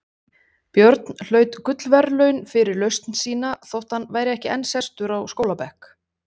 Björn hlaut gullverðlaun fyrir lausn sína þótt hann væri ekki enn sestur á skólabekk.